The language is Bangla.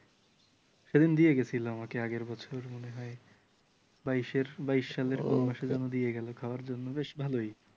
সেলিম দিয়ে গেছিল আমাকে আগের বছর মনে হয় । বাইশের বাইশ সালের কোন মাসে যেন দিয়ে গেল খাওয়ার জন্য বেশ ভালই